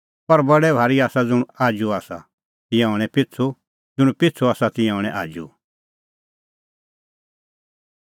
पर बडै भारी आसा ज़ुंण आजू आसा तिंयां हणैं पिछ़ू ज़ुंण पिछ़ू आसा तिंयां हणैं आजू